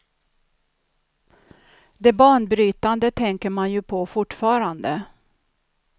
Det banbrytande tänker man ju på fortfarande.